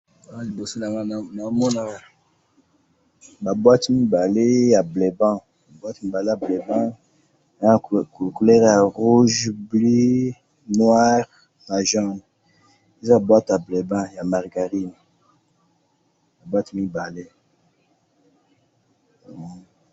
awa liboso na ngai nazo mona ba boîtes mibale ya bleuband, ba boîtes mibale ya bleuband, eza na couleurs ya rouge, bleu, noir na jaune, eza boîte ya bleuband, ya margarine, ba boîtes mibale